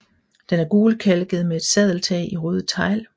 Den er gulkalket med et sadeltag i røde tegl